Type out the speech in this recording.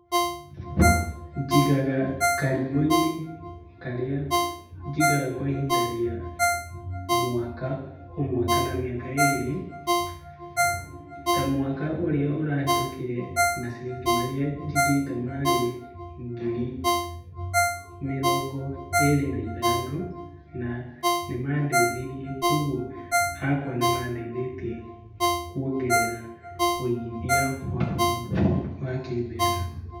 Njigaga karimũ-inĩ karĩa njigaga kwa ihinda rĩa mwaka ũmwe kana mĩaka ĩrĩ. Ta mwaka ũrĩa ũrahĩtũkire, maciringi marĩa njigĩte marĩ ngiri mĩrongo ĩrĩ na ithano na nĩmandeithirie. Kuoguo hakwa nĩmandeithĩtie wĩigithia wakwa wa kĩmbeca.